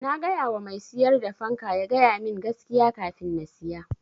Na gayawa mai siyar da fanka ya ga yamin gaskiya kafin na siya.